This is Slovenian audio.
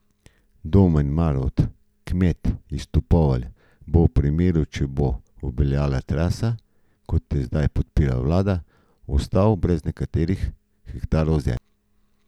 Domen Marovt, kmet iz Topovelj, bo v primeru, če bo obveljala trasa, kot jo zdaj podpira vlada, ostal brez nekaj hektarov zemlje.